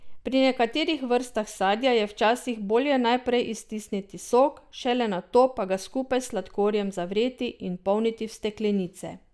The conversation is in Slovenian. Pri nekaterih vrstah sadja je včasih bolje najprej iztisniti sok, šele nato pa ga skupaj s sladkorjem zavreti in polniti v steklenice.